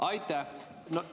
Aitäh!